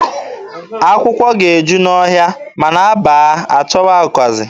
Akwụkwọ ga-eju n'ọhịa, ma na a baa, a chọba ụkazị.